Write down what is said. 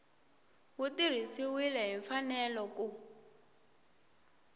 wu tirhisiwile hi mfanelo ku